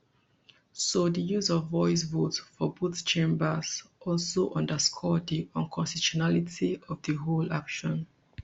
so di use of voice vote for both chambers also underscore di unconstitutionality of di whole action